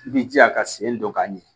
I b'i jija ka sen don k'a ɲɛ